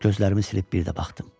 Gözlərimi silib bir də baxdım.